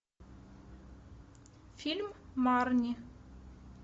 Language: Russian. фильм марни